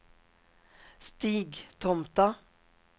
Stigtomta